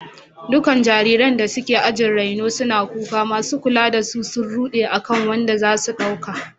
Dukkan jariranda suke ajin raino suna kuka, masu kula da su sun rude akan wanda za su dauka.